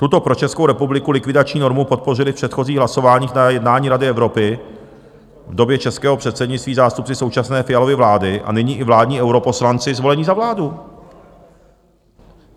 Tuto pro Českou republiku likvidační normu podpořili v předchozích hlasováních na jednání Rady Evropy v době českého předsednictví zástupci současné Fialovy vlády a nyní i vládní europoslanci zvolení za vládu.